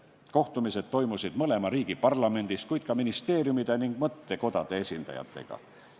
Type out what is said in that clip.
Kohtumised toimusid mõlema riigi parlamendis, kohtuti ka ministeeriumide ja mõttekodade esindajatega.